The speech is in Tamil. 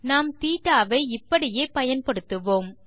நாம் θ வை இப்படியே பயன்படுத்துவோம்